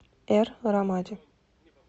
эр рамади